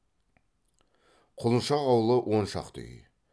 құлыншақ аулы он шақты үй